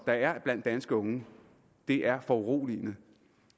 der er blandt danske unge er foruroligende